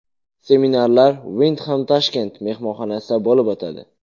Seminarlar Wyndham Tashkent mehmonxonasida bo‘lib o‘tadi.